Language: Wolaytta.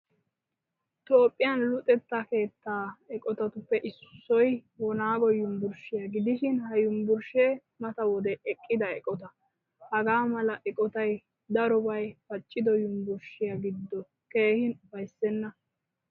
Toophphiyaan luxetta keettaa eqqotattuppe issoy wonago yunvurshshiyaa gidishin ha yunvurshshee mata wode eqqida eqqotta. Hagaamala eqqottay darobay paccido yunvurshshiyaa gido keehin ufayssena.